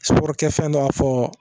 Suburu kɛ fɛn dɔ b'a fɔ